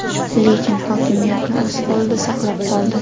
Lekin hokimiyatni o‘z qo‘lida saqlab qoldi.